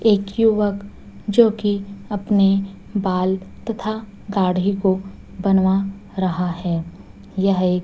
एक युवक जोकि अपने बाल तथा दाढ़ी को बनवा रहा है यह एक--